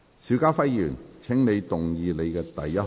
邵家輝議員，請動議你的第一項議案。